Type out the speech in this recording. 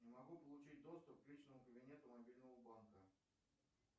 не могу получить доступ к личному кабинету мобильного банка